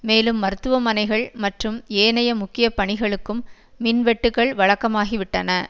மேலும் மருத்துவமனைகள் மற்றும் ஏனைய முக்கிய பணிகளுக்கும் மின்வெட்டுக்கள் வழக்கமாகிவிட்டன